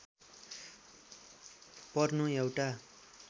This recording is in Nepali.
पर्नु एउटा